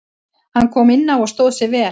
Hann kom inná og stóð sig vel.